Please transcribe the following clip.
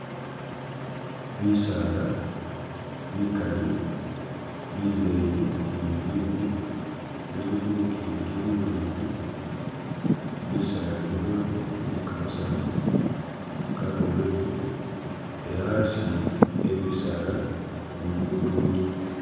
Bisaala bikali bileeyi ni bibimbi bili khu Lukiingi luleeyi, Bisaala bino bili ni Kamasaafu ka Green ela asi a Bisaala Lukudo luliwo.